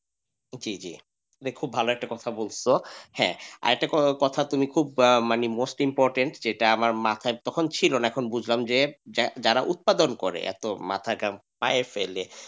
এটা একটা খুব ভালো কথা বলতেছো হ্যাঁ আর একটা কথা তুমি খুব মানে most important যেটা আমার মাথায় তখন মাথায় ছিল না এখন বুঝলাম যে যারা উৎপাদন করে এত মাথার ঘাম পায়ে ফেলে।